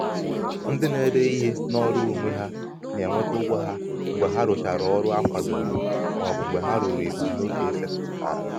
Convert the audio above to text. ndị na-ede ihe n’ọrụ onwe ha na-enweta ụgwọ ha mgbe ha ruchara ọrụ a kwadoro ma ọ bụ mgbe ha ruru ebumnobi e setịpụtara.